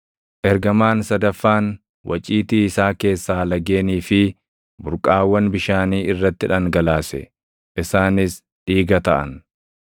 Ergamaan sadaffaan waciitii isaa keessaa lageenii fi burqaawwan bishaanii irratti dhangalaase; isaanis dhiiga taʼan.